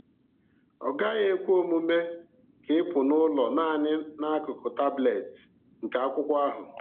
Ọ gaghị ekwe omume ka ịpụ n’ụlọ naanị na akụkụ taablet nke akwụkwọ ahụ.